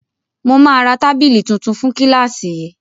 Mo ma ra tábìlì tuntun fún kílàsì yìí.